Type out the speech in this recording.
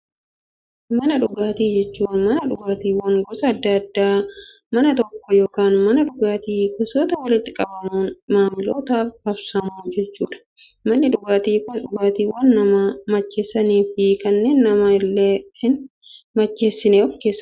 Mana dhugaatii jechuun, mana dhugaatiiwwan gosa addaa addaa mana tokko yookaan mana dhugaatii keessatti walitti qabamuun, maamilootaaf raabsamu jechuudha. Manni dhugaatii Kun, dhugaatiiwwan nama macheessanii fi kanneen nama illee hin macheessine of keessaa qaba.